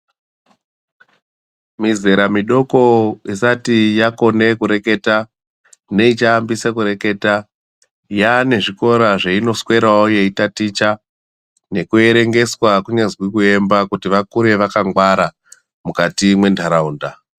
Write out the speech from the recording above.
Mizera midoko isati yakone kureketa neichaambisa kureketa, yaane zvikora kweinoswerawo yeitaticha nekuerengeswa kunyazwi kuemba kuti vakure vakangwara mukati mwenharaunda.